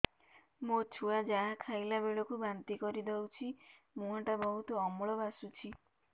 ମୋ ଛୁଆ ଯାହା ଖାଇଲା ବେଳକୁ ବାନ୍ତି କରିଦଉଛି ମୁହଁ ଟା ବହୁତ ଅମ୍ଳ ବାସୁଛି